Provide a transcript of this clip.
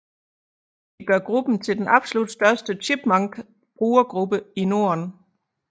Det gør gruppen til den absolut største Chipmunk brugergruppe i Norden